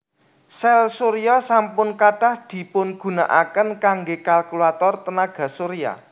Sèl surya sampun kathah dipungunakaken kanggé kalkulator tenaga surya